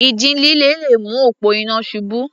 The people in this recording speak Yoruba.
Ìjì líle le mú òpó iná ṣubú.